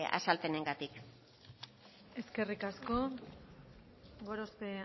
azalpenengatik eskerrik asko gorospe